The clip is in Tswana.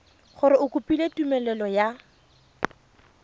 gore o kopile tumelelo ya